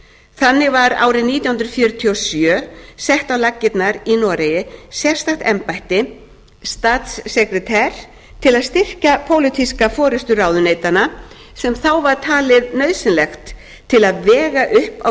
þannig var árið nítján hundruð fjörutíu og sjö sett á laggirnar í noregi sérstakt embætti statssekretær til að styrkja pólitíska forustu ráðuneytanna sem þá var talið nauðsynlegt til að vega upp á